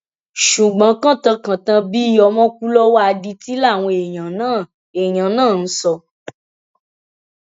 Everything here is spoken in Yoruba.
ṣùgbọn kantàn kantan bíi ọmọ kú lọwọ adití làwọn èèyàn náà èèyàn náà ń sọ